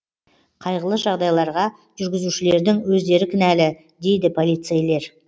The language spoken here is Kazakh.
қайғылы жағдайларға жүргізушілердің өздері кінәлі дейді полицейлер